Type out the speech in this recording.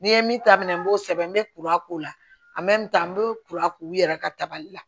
N'i ye min ta minɛ n b'o sɛbɛn n bɛ kura k'o la n bɛ kura k'u yɛrɛ ka tabali la